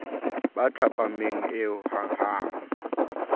ba thapameng eo ha hanghang